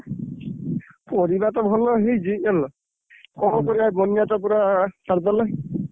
ପରିବା ତ ଭଲ ହେଇଛି ଜାଣିଲ, କଣ କରିବା ବନ୍ୟା ତ ପୁରା ସାରିଦେଲା।